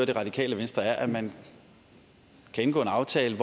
det radikale venstre er at man kan indgå en aftale